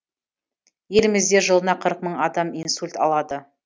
елімізде жылына қырық мың адам инсульт алады